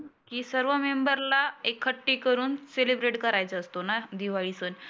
की सर्व मेंंबरला एकखट्टी करुण सेलीब्रेट करायचा असतो ना दिवाळी सण.